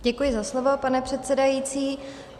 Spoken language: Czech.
Děkuji za slovo, pane předsedající.